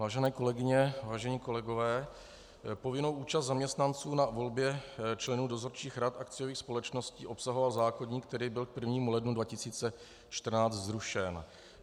Vážené kolegyně, vážení kolegové, povinnou účast zaměstnanců na volbě členů dozorčích rad akciových společností obsahoval zákoník, který byl k 1. lednu 2014 zrušen.